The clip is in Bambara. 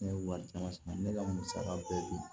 Ne ye wari caman sara ne ka musaka bɛɛ di